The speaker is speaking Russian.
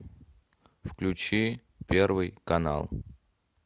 включи первый канал